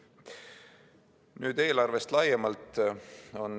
Nüüd eelarvest laiemalt.